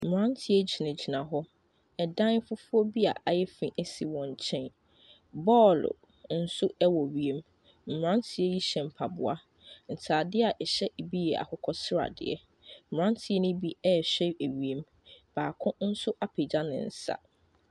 Mmaranteɛ gyinagyina hɔ. Ɛdan fufuo bi a ɛyɛ fɛ si wɔn nkyɛn. Ball nso wɔ wiem. Mmranteɛ yi hyɛ mpaboa. Ntaadeɛ bi yɛ akokɔ sradeɛ. Mmranteɛ no bi rehwɛ wiem. Baako nso apegya ne nsa.